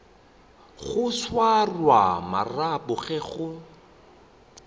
go swara marapo ge go